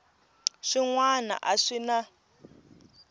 swin wana a swi na